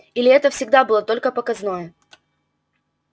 или это всегда было только показное